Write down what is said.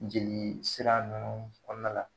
Jelii sira ninnu kɔɔna la